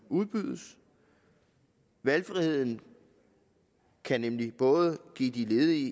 udbydes valgfriheden kan nemlig give de ledige